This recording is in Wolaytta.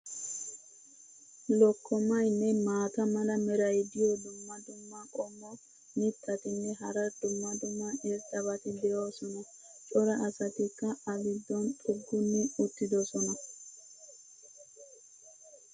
Lokkomaynne maata mala meray diyo dumma dumma qommo mitattinne hara dumma dumma irxxabati de'oosona. cora asatikka a giddon xugguni uttidosona.